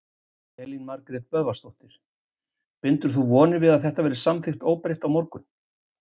Elín Margrét Böðvarsdóttir: Bindur þú vonir við að það verði samþykkt óbreytt á morgun?